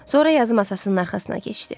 Sonra yazı masasının arxasına keçdi.